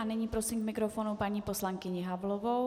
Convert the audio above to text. A nyní prosím k mikrofonu paní poslankyni Havlovou.